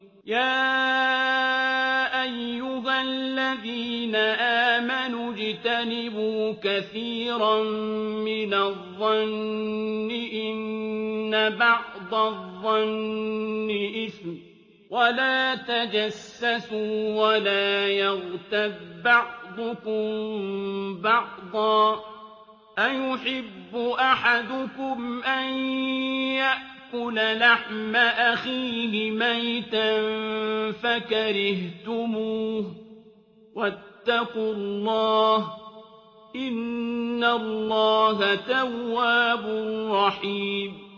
يَا أَيُّهَا الَّذِينَ آمَنُوا اجْتَنِبُوا كَثِيرًا مِّنَ الظَّنِّ إِنَّ بَعْضَ الظَّنِّ إِثْمٌ ۖ وَلَا تَجَسَّسُوا وَلَا يَغْتَب بَّعْضُكُم بَعْضًا ۚ أَيُحِبُّ أَحَدُكُمْ أَن يَأْكُلَ لَحْمَ أَخِيهِ مَيْتًا فَكَرِهْتُمُوهُ ۚ وَاتَّقُوا اللَّهَ ۚ إِنَّ اللَّهَ تَوَّابٌ رَّحِيمٌ